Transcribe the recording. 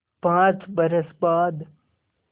पाँच बरस बाद